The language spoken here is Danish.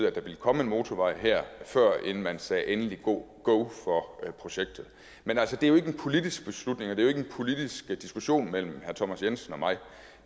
at der ville komme en motorvej her førend man sagde endelig go for projektet men det er jo ikke en politisk beslutning og det er ikke en politisk diskussion mellem herre thomas jensen og mig